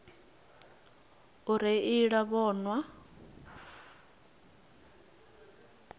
u reila musi vho nwa